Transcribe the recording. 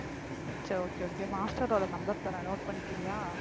சரி okay okay master ஓட number தர்றேன் note பண்ணிக்கிறியா